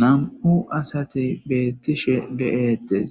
Nam'u asate beettishe de'etes